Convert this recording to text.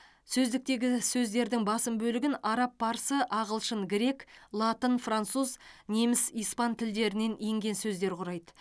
сөздіктегі сөздердің басым бөлігін араб парсы ағылшын грек латын француз неміс испан тілдерінен енген сөздер құрайды